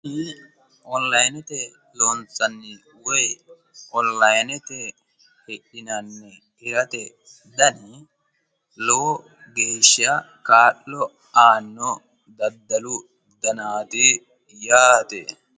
kuni onilayinete loonsannihu woyi hidhinannihu hirate dani lowo geeshsha kaa'lo aanno daddalu danaati yaate.